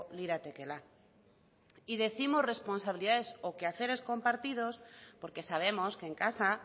liratekeela y décimos responsabilidades o quehaceres compartidos porque sabemos que en casa